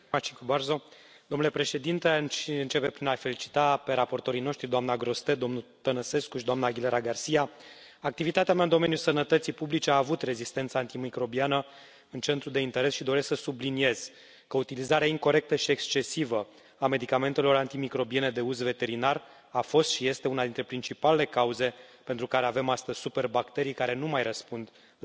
Domnule președinte, aș începe prin a i felicita pe raportorii noștri, doamna Grossetête, domnul Tănăsescu și doamna Aguilera García. Activitatea mea în domeniul sănătății publice a avut rezistența antimicrobiană în centrul de interes și doresc să subliniez că utilizarea incorectă și excesivă a medicamentelor antimicrobiene de uz veterinar a fost și este una dintre principalele cauze pentru care avem astăzi superbacterii care nu mai răspund la antibiotice.